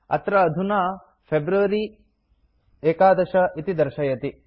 अत्र अधुना फेब्रुअरी 11 इति दर्शयति